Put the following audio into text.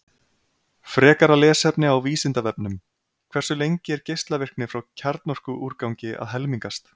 Frekara lesefni á Vísindavefnum: Hversu lengi er geislavirkni frá kjarnorkuúrgangi að helmingast?